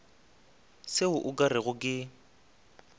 seo o ka rego ke